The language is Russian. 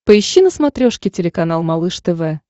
поищи на смотрешке телеканал малыш тв